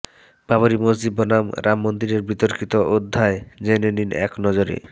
বাবরি মসজিদ বনাম রাম মন্দিরের বিতর্কিত অধ্যায় জেনে নিন একনজরে